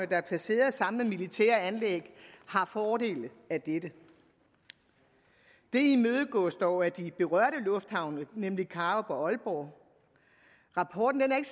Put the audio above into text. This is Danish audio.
der er placeret sammen med militære anlæg har fordele af dette det imødegås dog af de berørte lufthavne nemlig karup og aalborg rapporten er ikke